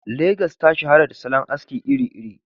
Legas ta shahara da salon aski iri-iri.